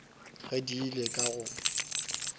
ge di ile ka go